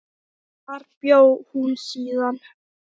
Þar bjó hún síðan.